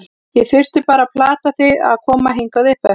Ég þurfti bara að plata þig til að koma hingað uppeftir.